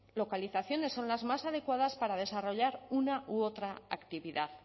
localizaciones son las más adecuadas para desarrollar una u otra actividad